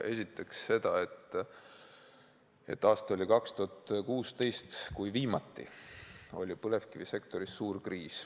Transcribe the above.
Esiteks seda, et aasta oli 2016, kui viimati oli põlevkivisektoris suur kriis.